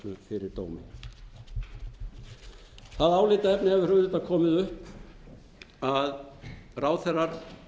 fyrir dómi það álitaefni hefur auðvitað komið upp að ráðherrar